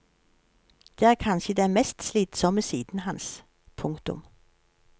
Det er kanskje den mest slitsomme siden hans. punktum